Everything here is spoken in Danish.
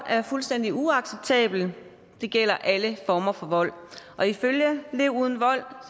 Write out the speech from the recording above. er fuldstændig uacceptabelt og det gælder alle former for vold lev uden vold